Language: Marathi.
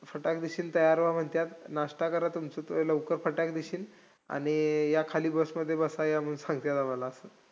फटाकदिशी तयार व्हा म्हणत्यात. नाश्ता करा तुमचं, लवकर फटाकदिशी. आणि या खाली bus मध्ये बसा या मंग सांगतील आम्हाला,